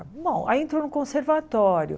Bom, aí entrou no conservatório.